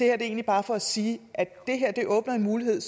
er egentlig bare for at sige at det åbner en mulighed